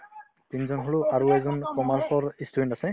তিনজন হ'লো আৰু এজন commerce ৰ ই student আছে